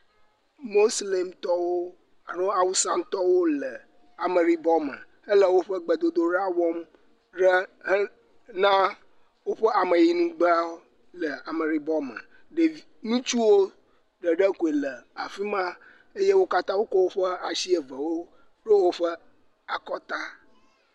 Moslemitɔwo alo Awusatɔwo le ameɖibɔme hele woƒe gbedodoɖa wɔm ɖe hena woƒe ameyinugbeawo le ameɖibɔme. Ɖev, ŋutsuwo koe le afi ma eye wo katã wokɔ woƒe ashi evewo ɖo woƒe akɔta.